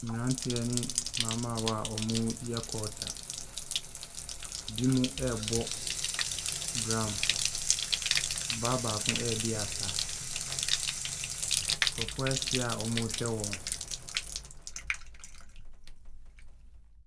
Mmeranteɛ ne mmabaawa a wɔreyɛ culture, binom ɛrebɔ drum, ɔbaa baako ɛredi asa. Nkurɔfo ahyia awɔrehwɛ wɔn.